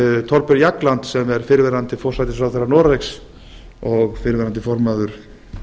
thorbjörn jagland sem er fyrrverandi forsætisráðherra noregs og fyrrverandi formaður